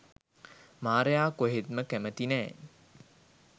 මාරයා කොහෙත්ම කැමැති නෑ.